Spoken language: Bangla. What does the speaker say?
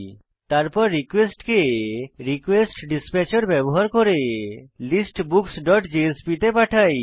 তারপর রিকোয়েস্ট কে রিকোয়েস্টডিসপ্যাচের ব্যবহার করে listbooksজেএসপি তে পাঠাই